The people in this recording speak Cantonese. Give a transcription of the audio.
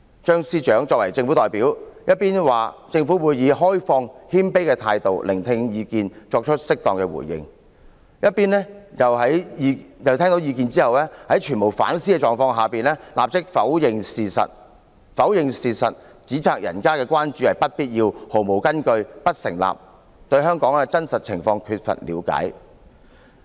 "張司長作為政府代表，一邊說政府會以開放、謙卑的態度聆聽意見，並作出適當回應；一邊卻在聽到意見後，在全無反思的狀況下立刻否認事實，指責人家的關注是不必要、毫無根據、不成立、對香港的真實情況缺乏了解。